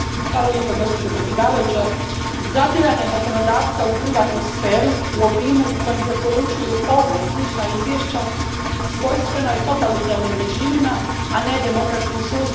Gospođo predsjednice, zadiranje zakonodavca u privatnu sferu u obimu u kojem preporučuju ovo i slična izvješća svojstveno je totalitarnim režimima, a ne demokratskim sustavima.